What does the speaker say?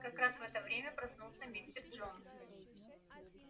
как раз в это время проснулся мистер джонс